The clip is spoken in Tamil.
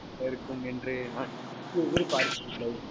நல்லா இருக்கும் என்று யாரும், நானே எதிர்பார்க்கவில்லை.